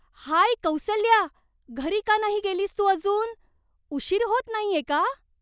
हाय कौसल्या, घरी का नाही गेलीस तू अजून? उशीर होत नाहीये का?